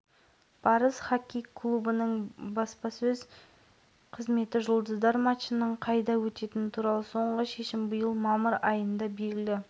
әлия юсупова көркем гимнастикадан еліміздің бас бапкері авторлары қанат жүнісбеков ерболат әбіш нұрмахан бекмұратов зілзала ошағы